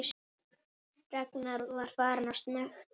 Ragnar var farinn að snökta.